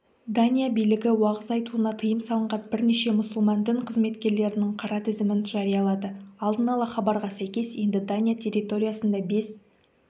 дания билігі уағыз айтуына тыйым салынған бірнеше мұсылман дін қызметкерлерінің қара тізімін жариялады алдын ала хабарға сәйкес енді дания территориясында бес